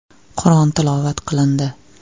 Qur’on tilovat qilindi.